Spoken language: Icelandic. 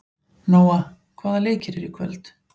Nóa, hvaða leikir eru í kvöld?